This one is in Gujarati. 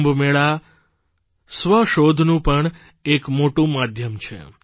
કુંભ મેળા સ્વ શોધનું પણ એક મોટું માધ્યમ છે